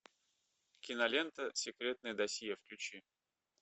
кинолента секретное досье включи